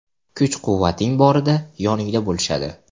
Kuch-quvvating borida yoningda bo‘lishadi.